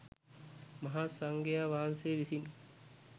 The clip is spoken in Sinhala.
මහාසංඝයා වහන්සේ විසින්